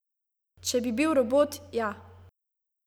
Če bi bil robot, ja.